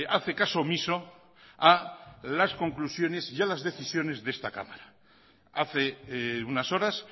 hace caso omiso a las conclusiones y a las decisiones de esta cámara hace unas horas